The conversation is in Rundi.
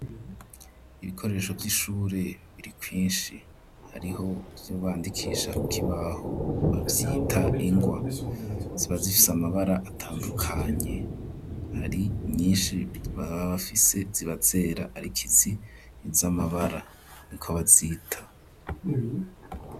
Ibikoresho vy'ishure biri kwinshi; hariho ivyo bandikisha ku kibaho, bavyita ingwa; ziba zifise amabara atandukanye, hari nyinshi baba bafise ziba zera, ariko izi ni iz'amabara, niko bazita.